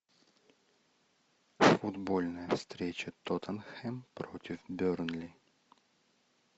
футбольная встреча тоттенхэм против бернли